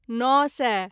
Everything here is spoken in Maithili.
नओ सए